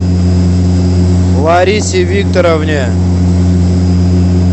ларисе викторовне